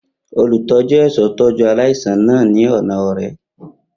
Olutọju ẹṣọ tọju alaisan naa ni ọna ọrẹ.